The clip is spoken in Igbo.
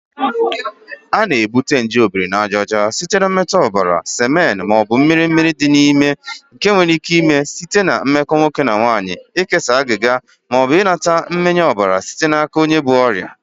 A na-ebute nje Obirinajaọcha site na mmetụ ọbara, semen, ma ọ bụ mmiri mmiri dị n'ime. Nke a nwere ike ime site na mmekọ nwoke na nwanyị, ikesa agịga, ma ọ bụ ịnata mmịnye ọbara site n'aka onye bu ọrịa